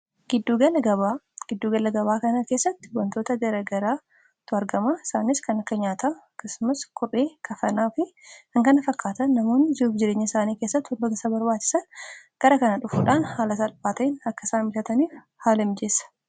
giddu galagabaa kanaa keessatti wantoota jaragaraa tu argama isaaniis kan akka nyaata kismas kur'ii kafanaa fi hangana fakkaata namoonn zi'uuf jireenya isaanii keessatti hundootasa barwaachisan gara kana dhufuudhaan haala salphaatain akkasaan bitataniif haala imijeessa